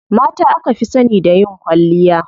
Mata aka fi sani da yin kwalliya.